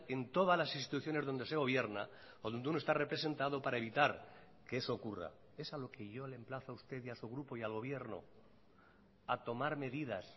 en todas las instituciones donde se gobierna o donde uno está representado para evitar que eso ocurra es a lo que yo le emplazo a usted y a su grupo y al gobierno a tomar medidas